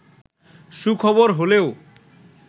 সুখবর হলেও